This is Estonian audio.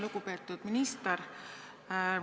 Lugupeetud minister!